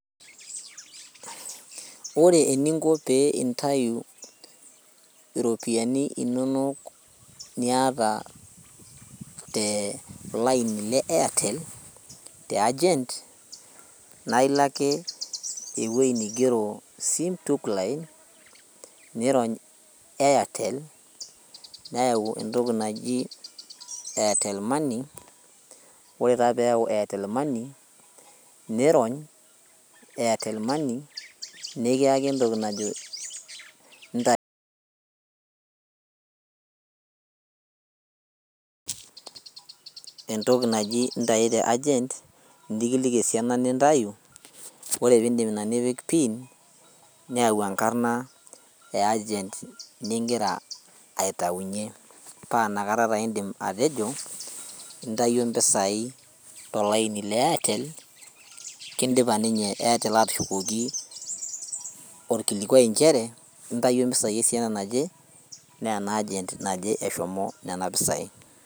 Ore eninko pee intayu iropiani inonok niata te olaini le airtel te agent naa ilo ake ewuei nigero sim tookline nirony airtel neyau entoki naji airtel money ore taa peyau airtel money nirony airtel money nekiyaki entoki najo inta entoki naji intai te agent nikiliki esiana nintayu ore pindip ina nipik pin neyau enkarna e agent ningira aitaunyie paa inakata taa indim atejo intayio impisai tolaini le airtel kindipa ninye airtel atushukoki orkilikuai inchere intayuo impisai esiana naje neena agent naje eshomo nena pisai.